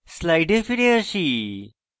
slides ফিরে আসি